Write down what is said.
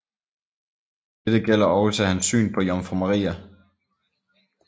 Dette gælder også hans syn på Jomfru Maria